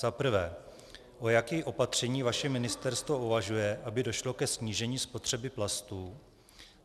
Za prvé: O jakém opatření vaše ministerstvo uvažuje, aby došlo ke snížení spotřeby plastů?